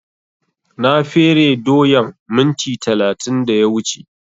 Na fere doyan minti talatin da ya wuce